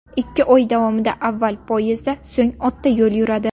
Ikki oy davomida avval poyezdda, so‘ng otda yo‘l yuradi.